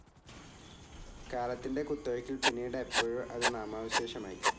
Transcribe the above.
കാലത്തിൻ്റെ കുത്തൊഴുക്കിൽ പിന്നീട് എപ്പോഴോ അത് നാമാവശേഷമായി.